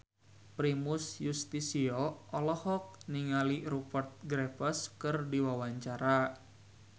Primus Yustisio olohok ningali Rupert Graves keur diwawancara